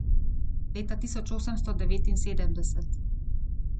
Leta tisoč osemsto devetinsedemdeset.